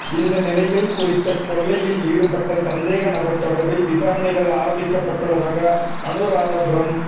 இந்த நிலையில் குறித்த கொள்ளையில் ஈடுபட்ட சந்தேக நபர் தொடர்பில் விசாரணைகள் ஆரம்பிக்கப்பட்டுள்ளதாக அனுராதபுரம்